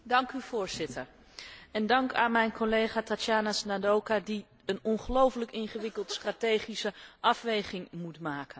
Voorzitter, dank aan collega Tatjana Ždanoka, die een ongelooflijk ingewikkelde strategische afweging moet maken.